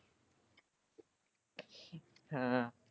ਹਾਂ।